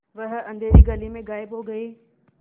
वह अँधेरी गली से गायब हो गए